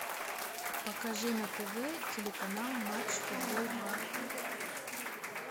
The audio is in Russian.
покажи на тв телеканал матч футбол два